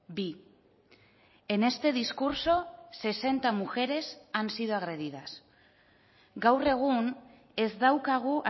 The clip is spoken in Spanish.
bi en este discurso sesenta mujeres han sido agredidas gaur egun ez daukagu